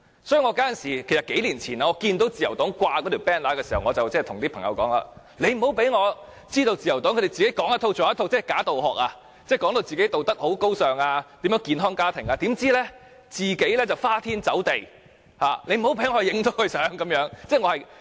所以，在數年前看到自由黨掛上那張橫額時，我對朋友說，不要讓我知道自由黨"說一套、做一套"，"假道學"，把自己形容為道德高尚、健康家庭，怎料卻花天酒地，不要讓我拍攝到這個情況。